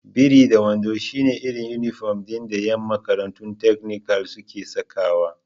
Biri-da-wando shi ne irin inifom ɗin da ƴan makarantun takanikal suke sakawa